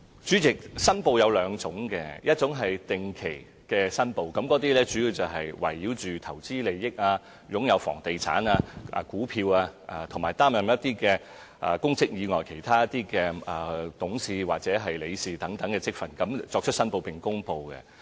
主席，申報有兩種，一種是定期申報，主要圍繞投資利益、房地產、股票，以及擔任公職以外其他董事或理事等職份，他們所作出的申報，並就此公布。